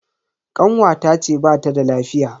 Kanwata ce bata da lafiya.